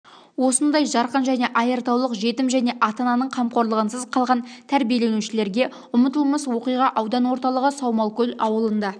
осындай жарқын және айртаулық жетім және ата-ананың қамқорлығынсыз қалған тәрбиеленушілерге ұмытылмас уақиға аудан орталығы саумалкөл ауылында